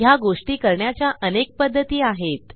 ह्या गोष्टी करण्याच्या अनेक पध्दती आहेत